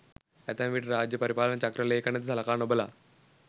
ඇතැම් විට රාජ්‍ය පරිපාලන චක්‍ර ලේඛන ද සලකා නොබලා